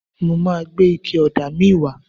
Mo ma gbé ike ọ̀dà míì wá.